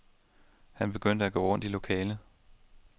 Han begyndte at gå rundt i lokalet.